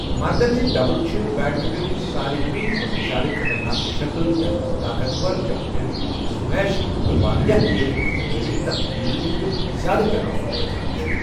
مردَن ہٕنٛدۍ ڈبٕل چھِ بیڈمنٹنٕچ سارۍوٕی کھۄتہٕ زِیٛادٕ خطرناک شکٕل، یَتھ منٛز طاقتور چمپین سمیش تہٕ واریٛاہ تیز اضطراری تبدیلن ہُنٛد زِیٛادٕ تناسب گژھان چھُ۔